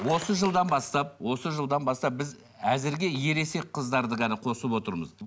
осы жылдан бастап осы жылдан бастап біз әзірге ересек қыздарды ғана қосып отырмыз